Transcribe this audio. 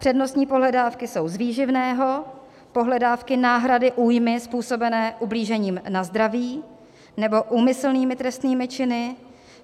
Přednostní pohledávky jsou z výživného, pohledávky náhrady újmy způsobené ublížením na zdraví nebo úmyslnými trestnými činy.